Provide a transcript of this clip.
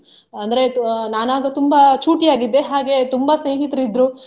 ಅಂದ್ರೆ ಅಹ್ ನಾನು ಆಗ ತುಂಬಾ ಚೂಟಿಯಾಗಿದ್ದೆ ಹಾಗೆ ತುಂಬಾ ಸ್ನೇಹಿತರು ಇದ್ರು.